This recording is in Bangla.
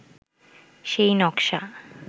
সেই নকশা